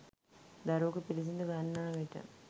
දරුවකු පිළිසිඳ ගන්නා විට